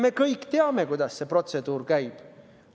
Me kõik teame, kuidas see protseduur käib.